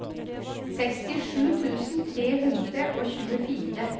sekstisju tusen tre hundre og tjuefire